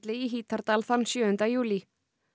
í Hítardal þann sjöunda júlí